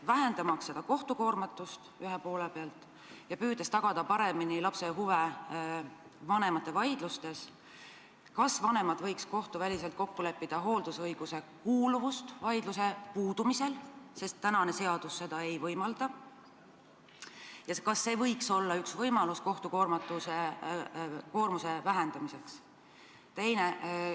Vähendamaks kohtu koormatust ja püüdes paremini tagada lapse huve vanemate vaidlustes, kas vanemad ei võiks kohtuväliselt kokku leppida hooldusõiguse kuuluvuses vaidluse puudumise korral, sest praegu seadus seda ei võimalda, ja kas see ei võiks olla üks võimalusi kohtu koormuse vähendamiseks?